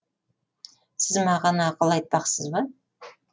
сіз маған ақыл айтпақсыз ба